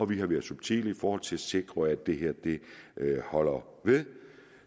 vi har været subtile i forhold til at sikre at det her holder ved